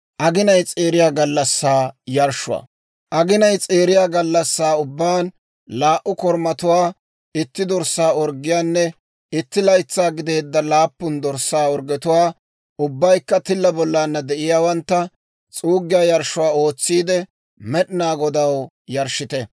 « ‹Aginay s'eeriya gallassaa ubbaan, laa"u korumatuwaa, itti dorssaa orggiyaanne itti laytsaa gideedda laappun dorssaa orggetuwaa, ubbaykka tilla bollana de'iyaawantta, s'uuggiyaa yarshshuwaa ootsiide, Med'inaa Godaw yarshshite.